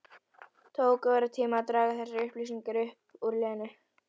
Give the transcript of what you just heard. Tók óratíma að draga þessar upplýsingar upp úr Lenu.